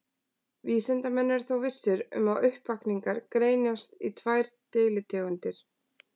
Vísindamenn eru þó vissir um að uppvakningar greinast í tvær deilitegundir.